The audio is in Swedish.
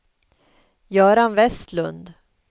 Göran Vestlund